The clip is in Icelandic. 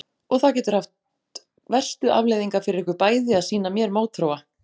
Og það getur haft verstu afleiðingar fyrir ykkur bæði að sýna mér mótþróa?